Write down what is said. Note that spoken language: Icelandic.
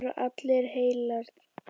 Það eru allar heilar.